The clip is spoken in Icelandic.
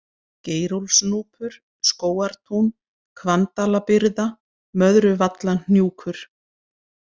Geirólfsnúpur, Skógartún, Hvanndalabyrða, Möðruvallahnjúkur